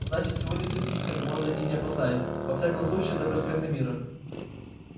значит сегодня всё тихо и можно идти не опасаясь во всяком случае до проспекта мира